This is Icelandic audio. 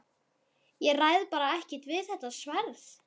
Ég ræð bara ekkert við þetta sverð!